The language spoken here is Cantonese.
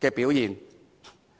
的表現。